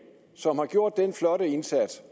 som har gjort den flotte indsats